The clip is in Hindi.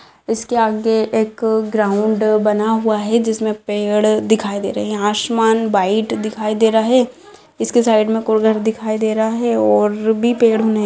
इसके आगे एक ग्राउंड बना हुआ है जिसमें पेड़ दिखाई दे रहे है आसमान वाइट दिखाई दे रहा है इसके साइड में घर दिखाई दे रहा है और भी पेड़ ने --